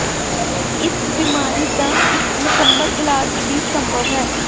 ਇਸ ਬਿਮਾਰੀ ਦਾ ਇੱਕ ਮੁਕੰਮਲ ਇਲਾਜ ਵੀ ਸੰਭਵ ਹੈ